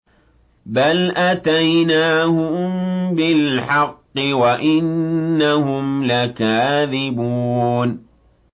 بَلْ أَتَيْنَاهُم بِالْحَقِّ وَإِنَّهُمْ لَكَاذِبُونَ